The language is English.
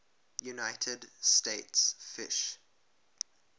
united states fish